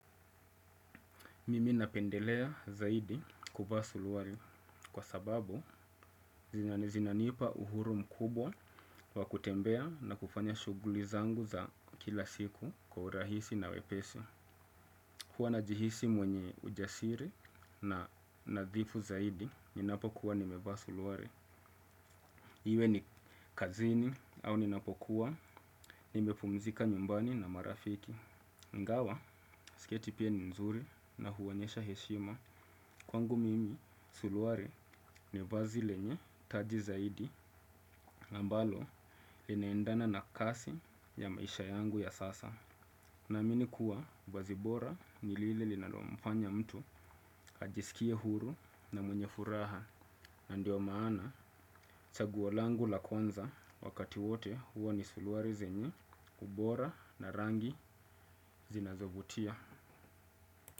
Mimi napendelea zaidi kuvaa suruali kwa sababu zinanipa uhuru mkubwa wa kutembea na kufanya shughuli zangu za kila siku kwa urahisi na wepesi. Huwa najihisi mwenye ujasiri na nadhifu zaidi ninapokuwa nimevaa suruali. Iwe ni kazini au ninapokuwa nimepumzika nyumbani na marafiki. Ingawa, sketi pia ni nzuri na huonyesha heshima. Kwangu mimi, suruali ni vazi lenye, taji zaidi ambalo, linaendana na kazi ya maisha yangu ya sasa. Naamini kuwa, vazi bora, ni lile linalomfanya mtu ajisikie huru na mwenye furaha. Na ndio maana, chaguo langu la kwanza wakati wote huwa ni suruali zenye, ubora na rangi zinazovutia.